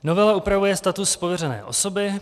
Novela upravuje status pověřené osoby.